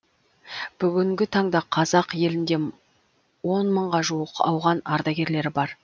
бүгінгі таңда қазақ елінде он мыңға жуық ауған ардагерлері бар